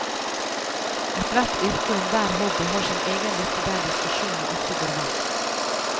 Ethvert yrke og enhver hobby har sin egen liste der diskusjonene ofte går varmt.